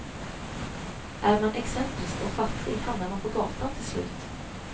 Är man excentrisk och fattig hamnar man på gatan till slut.